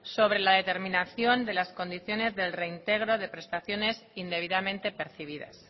sobre la determinación de las condiciones del reintegro de prestaciones indebidamente percibidas